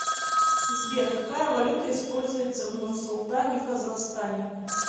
сбер какая валюта используется в нурсултане казахстане